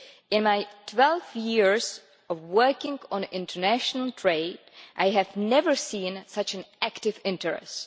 In my 12 years of working on international trade, I have never seen such active interest.